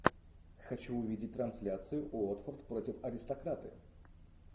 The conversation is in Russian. хочу увидеть трансляцию уотфорд против аристократы